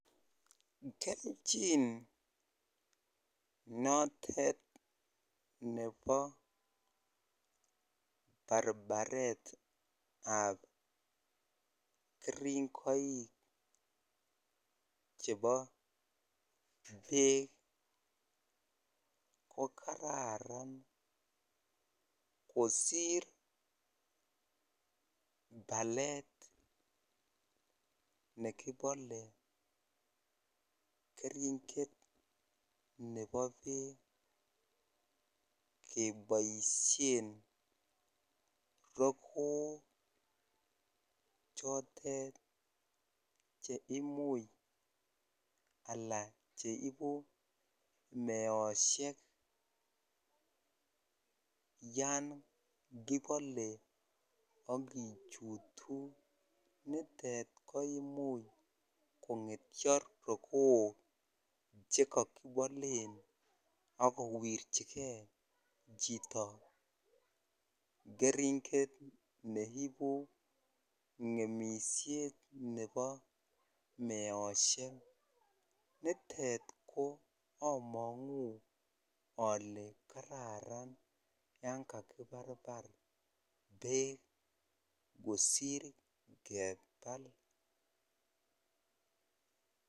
Kelchin notet nebo barbaretab keringoik chebo beek ko kararan kosir balet nekibale keringet ne bo beek keboisien rokook chotet cheimuch alan cheibu meosiek yon kibale akijutu nitet ko imuch kong'etyo rokook chekokibalen akowirchike chito keringet neibu ng'emisiet ne bo meosiek nitet among'uu ale kararan yangakibarbar beek kosir kebal .